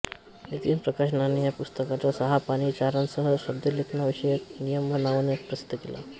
नितीन प्रकाशनने या पुस्तकाचा सहा पानी सारांशही शुद्धलेखनविषयक नियम या नावाने प्रसिद्ध केला